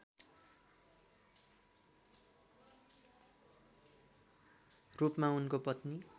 रूपमा उनको पत्नी